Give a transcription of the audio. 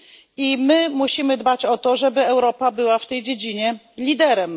I my musimy dbać o to, żeby Europa była w tej dziedzinie liderem.